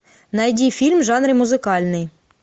найди фильм в жанре музыкальный